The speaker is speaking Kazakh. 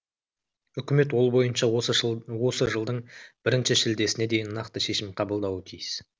үкімет ол бойынша осы осы жылдың бірінші шілдесіне дейін нақты шешім қабылдауы тиіс